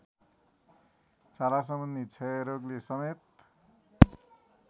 छालासम्बन्धी क्षयरोगले समेत